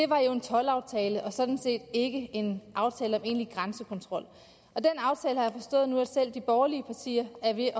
var en toldaftale og sådan set ikke en aftale om egentlig grænsekontrol og den aftale har jeg forstået nu er selv de borgerlige partier